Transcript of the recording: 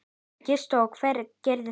Gissur: Og hver gerði það?